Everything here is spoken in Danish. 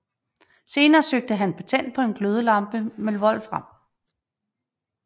Senere søgte han patent på en glødelampe med wolfram